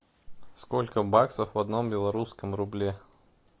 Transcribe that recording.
сколько баксов в одном белорусском рубле